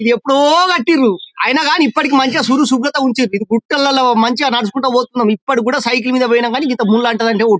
ఇది ఎప్పుడో కొట్టిండ్రు అయినా కానీ ఇప్పటికీ మంచిగా శుభ్రంగా ఉంచండి ఇది గుట్టలలో మంచిగా నడుచుకుంటూ పోతున్నాం ఇప్పటికి కూడా సైకిల్ మీద పోయినా కానీ ఇంత అంతదంటే ఒట్టు.